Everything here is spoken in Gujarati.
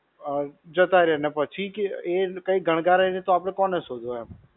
અ જતા રહે અને પછી એ કોઈ ગણકારે નહિ તો આપણે કોને શોધવું એમ?